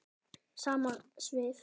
Sama svið.